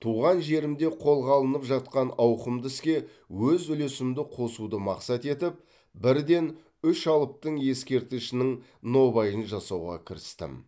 туған жерімде қолға алынып жатқан ауқымды іске өз үлесімді қосуды мақсат етіп бірден үш алыптың ескерткішінің нобайын жасауға кірістім